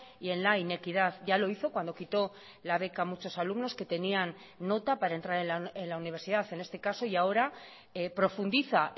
y en la inequidad ya lo hizo cuando quitó la beca a muchos alumnos que tenían nota para entrar en la universidad en este caso y ahora profundiza